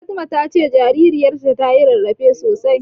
Fatima ta ce jaririyarta tayi rarrafe sosai.